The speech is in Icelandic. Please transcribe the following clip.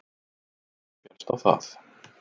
Dómurinn féllst á það